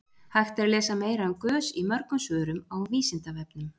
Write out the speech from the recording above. Hægt er að lesa meira um gös í mörgum svörum á Vísindavefnum.